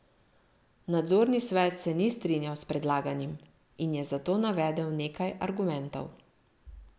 Nadzorni svet se ni strinjal s predlaganim in je za to navedel nekaj argumentov.